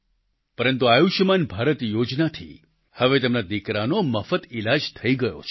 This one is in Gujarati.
પરંતુ આયુષ્યમાન ભારત યોજનાથી હવે તેમના દિકરાનો મફત ઈલાજ થઈ ગયો છે